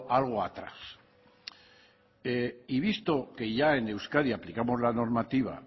algo atrás y visto que ya en el euskadi aplicamos la normativa